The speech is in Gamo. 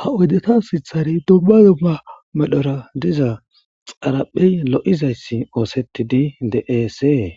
ha oydeta sithare dobba yoba medhora diza xaraphey lo7izayssi oosetidi deesee